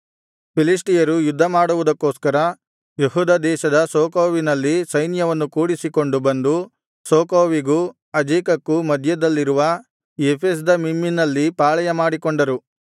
ಫಿಲಿಷ್ಟಿಯರು ಯುದ್ಧ ಮಾಡುವುದಕ್ಕೋಸ್ಕರ ಯೆಹೂದ ದೇಶದ ಸೋಕೋವಿನಲ್ಲಿ ಸೈನ್ಯವನ್ನು ಕೂಡಿಸಿಕೊಂಡು ಬಂದು ಸೋಕೋವಿಗೂ ಅಜೇಕಕ್ಕೂ ಮಧ್ಯದಲ್ಲಿರುವ ಎಫೆಸ್ದಮ್ಮೀಮಿನಲ್ಲಿ ಪಾಳೆಯಮಾಡಿಕೊಂಡರು